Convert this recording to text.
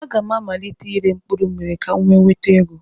A ga m amalite ire mkpụrụmmiri ka m wee nweta ego.